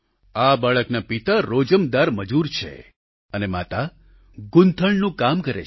આ બાળકના પિતા રોજમદાર મજૂર છે અને માતા ગૂંથણનું કામ કરે છે